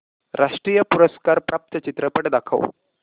राष्ट्रीय पुरस्कार प्राप्त चित्रपट दाखव